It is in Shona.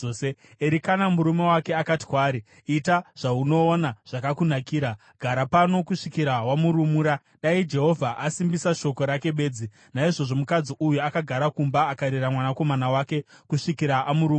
Erikana murume wake akati kwaari, “Ita zvaunoona zvakakunakira. Gara pano kusvikira wamurumura; dai Jehovha asimbisa shoko rake bedzi.” Naizvozvo mukadzi uyu akagara kumba akarera mwanakomana wake kusvikira amurumura.